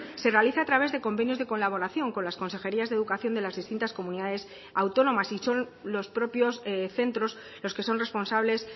se realiza a través de convenios de colaboración con las consejerías de educación de las distintas comunidades autónomas y son los propios centros los que son responsables